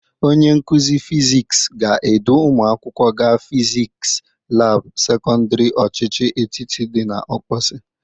Onye nkụzị fisiks ga-edu ụmụ akwụkwọ ga fiskis labụ sekọndịrị ochịchị etiti dị n'Ọkpọsị.